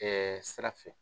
sira fɛ.